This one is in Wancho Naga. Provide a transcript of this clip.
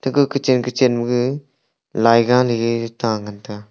ga kuchen kuchen maege laiga leley ta ngan taiga.